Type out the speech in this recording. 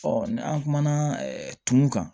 ni an kumana tumu kan